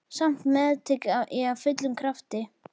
Samt meðtek ég af fullum krafti.